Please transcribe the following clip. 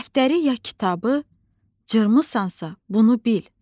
Dəftəri ya kitabı cırmısansa, bunu bil: